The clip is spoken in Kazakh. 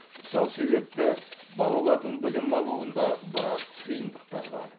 сол себепті балалардың білім алуында біраз қиындықтар бар